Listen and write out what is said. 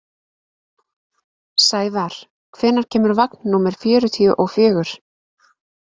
Sævar, hvenær kemur vagn númer fjörutíu og fjögur?